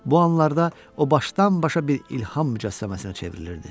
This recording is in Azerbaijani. Bu anlarda o başdan-başa bir ilham mücəssəməsinə çevrilirdi.